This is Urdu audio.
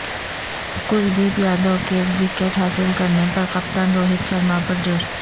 کلدیپ یادیو کے وکٹ حاصل کرنے پر کپتان روہت شرما پرجوش